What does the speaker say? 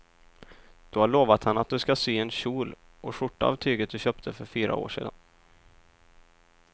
Du har lovat henne att du ska sy en kjol och skjorta av tyget du köpte för fyra år sedan.